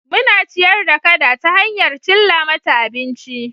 Muna ciyar da kada ta hanyar cilla mata abinci